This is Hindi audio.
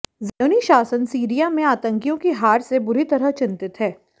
ज़ायोनी शासन सीरिया में आतंकियों की हार से बुरी तरह चिंतित है